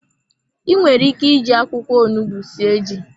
Inwere ike ịji akwụkwọ onugbu sie ji.